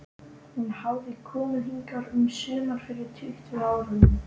Hún hafði komið hingað um sumar fyrir tuttugu árum.